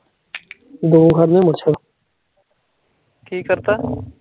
ਕੀ ਕਰਤਾ